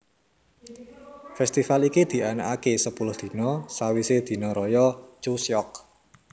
Festival iki dianakake sepuluh dina sawise dina raya Chuseok